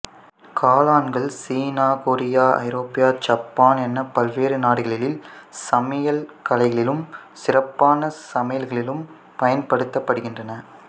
காளான்கள் சீனா கொரியா ஐரோப்பா சப்பான் என பல்வேறு நாடுகளில் சமையல் கலைகளிலும் சிறப்பான சமையல்களிலும் பயன்படுத்தப்படுகின்றன